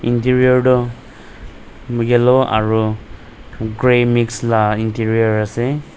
interior tu yellow aru grey mix lah interior ase.